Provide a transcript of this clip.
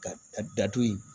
Ka ka datugu